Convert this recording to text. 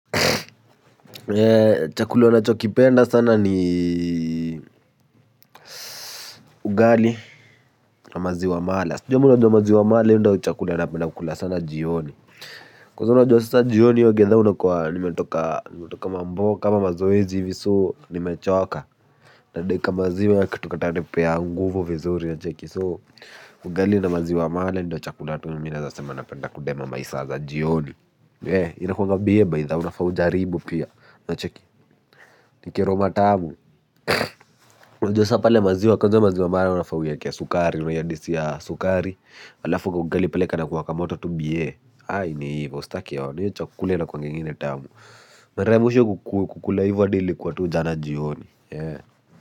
Chakula nachokipenda sana ni ugali na maziwa mala sijui kama unajua maziwa mala hiyo ndiyo chakula napenda kukula sana jioni. Kwanza unajua sasa jioni hiyo githaa unakua nimetoka mamboka ama mazoezi hivi so nimechoka. Nadai kamaziwa kakitu katanipea nguvu vizuri unacheki so ugali na maziwa mala ndiyo chakula tu mimi naweza sema napenda kudema masaa za jioni inakunga biee by the way unafaa ujaribu pia unacheki ni keroma tamu. Unajua sasa pale maziwa kwanza hiyo maziwa mala unafaa uiweke sukari unaiadisia sukari halafu kaugali pale kanakuwa kamoto tu biee ni hivyo usitake ona hiyo chakula inakuanga ingine tamu mara ya mwisho kukula hivyo hadi ilikuwa tu jana jioni.